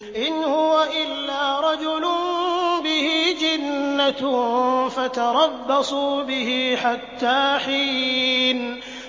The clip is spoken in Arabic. إِنْ هُوَ إِلَّا رَجُلٌ بِهِ جِنَّةٌ فَتَرَبَّصُوا بِهِ حَتَّىٰ حِينٍ